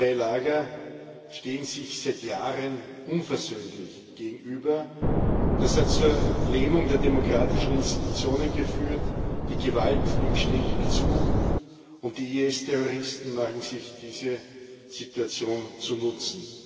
Zwei Lager stehen sich seit Jahren unversöhnlich gegenüber, und das hat zur Lähmung der demokratischen Institutionen geführt, die Gewalt nimmt ständig zu, und die IS Terroristen machen sich diese Situation zunutze.